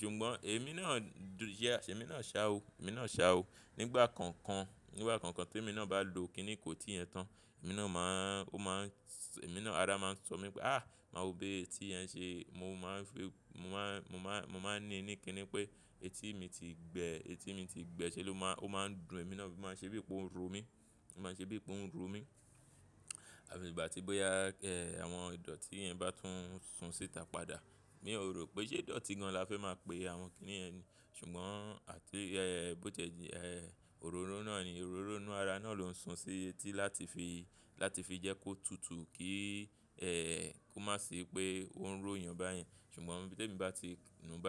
Ṣùgbọ́n èmi náà jẹ́, ṣé èmi náà ṣa o, èmi náà ṣa o. Nígbà kankan, nígbà kankan tí èmi náà bá lo kí ni ìkótí yẹn tán, èmi náà máa ń, ó máa ń-- èmi náà ara máa ń sọ mí pé, "áà máa wope etí yẹn ṣe." Mo máa ń fi, mo máa ń, mo máa ń ní ní kí ni pé etí mi ti gbẹ, etí mi ti gbẹ ṣé ló máa, ó máa ń dùn èmi náà, ó máa ń ṣe bí i pé ó ń ro mí. Ó máa ń ṣe bí i pé ó ń ro mí. Àbí ìgbà tí bóyá ẹ́ àwọn ìdọ̀tí yẹn bá tún sun síta padà. Èmi ò rò pé ṣé ìdọ̀tí gan la fẹ́ máa pe àwọn kí ni yẹn ni. Ṣùgbọ́n àti ẹ́ bó tẹ́ di ẹ́ òróró náà ni, òróró inú ara náà ló ń sun sí etí láti fi, láti fi jẹ́ kó tutù kí ẹ́ kó má ṣe pé ó ń róyàn báyìí. Ṣùgbọ́n bí èmi bá ti nù bá--